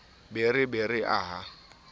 be re be re aha